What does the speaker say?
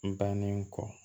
N bannen kɔ